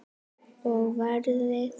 Og veðrið.